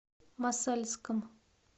мосальском